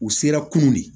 U sera kunun de